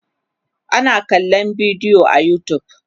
ana kallan bidiyo a utube